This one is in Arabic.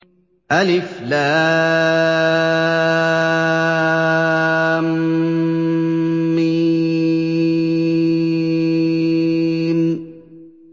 الم